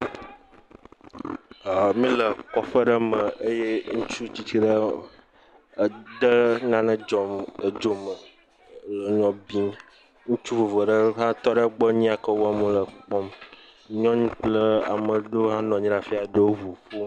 Míle kɔƒe ɖe me, eye ŋutsu tsitsi ɖe de nane edzo me, nɔ bibim, ŋutsu vovovo aɖe hã tɔ egbɔ, nuyi ke wɔm wòle, wo kpɔm, nyɔnu kple amedzo ɖewo nɔ anyi ɖe afi ya, ɖewo le ŋu ƒom .